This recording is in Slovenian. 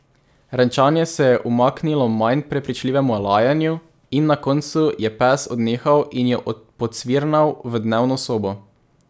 Renčanje se je umaknilo manj prepričljivemu lajanju in na koncu je pes odnehal in jo pocvirnal v dnevno sobo.